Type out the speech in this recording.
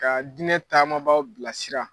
Ka diinɛ taamabaaw bilasira